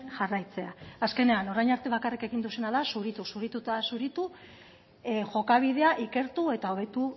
jarraitzea azkenean orain arte bakarrik egin duzuena da zuritu zuritu eta zuritu jokabidea ikertu eta hobetu